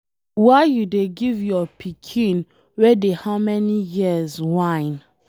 Why you dey give your pikin wey dey how many years wine.